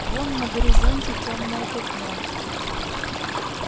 вон на горизонте тёмное пятно